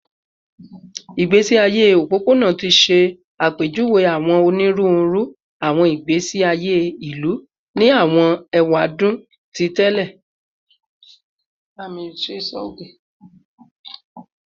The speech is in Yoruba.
Igbesi aye opopona ti ṣe apejuwe awọn oniruuru awọn igbesi aye ilu ni awọn ewadun ti tẹlẹ